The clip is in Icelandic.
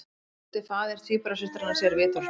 Átti faðir tvíburasystranna sér vitorðsmann